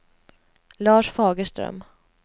Lars Fagerström